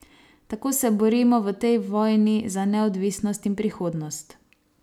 Tako se borimo v tej vojni za neodvisnost in prihodnost.